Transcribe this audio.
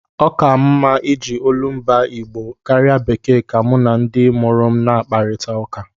Ọ ka m mma iji olumba Igbo m karịa bekee ka mụ na ndị mụrụ m na-akpakọrịta.